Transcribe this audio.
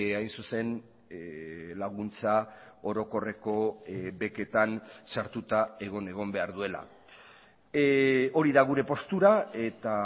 hain zuzen laguntza orokorreko beketan sartuta egon egon behar duela hori da gure postura eta